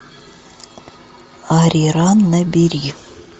ариран набери